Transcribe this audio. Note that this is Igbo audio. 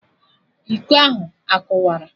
Iko ahụ akụwara?